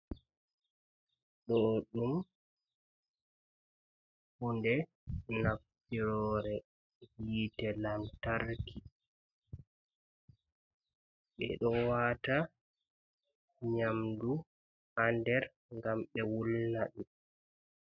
Ɗuɗɗum hunde naftiroore yiite lantarki, ɓe ɗo waata nyamdu haa nder ngam ɓe wulnaɗi.